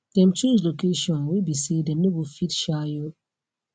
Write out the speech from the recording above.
dem choose location whey be say them no go fit shayo